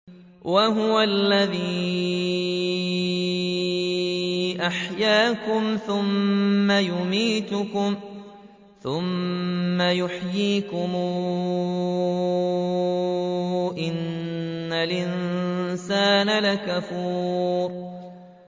وَهُوَ الَّذِي أَحْيَاكُمْ ثُمَّ يُمِيتُكُمْ ثُمَّ يُحْيِيكُمْ ۗ إِنَّ الْإِنسَانَ لَكَفُورٌ